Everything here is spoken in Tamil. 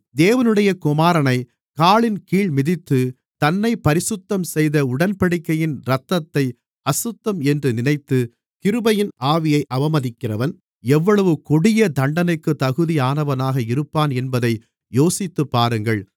தேவனுடைய குமாரனைக் காலின் கீழ் மிதித்து தன்னைப் பரிசுத்தம் செய்த உடன்படிக்கையின் இரத்தத்தை அசுத்தம் என்று நினைத்து கிருபையின் ஆவியை அவமதிக்கிறவன் எவ்வளவு கொடிய தண்டனைக்கு தகுதியானவனாக இருப்பான் என்பதை யோசித்துப்பாருங்கள்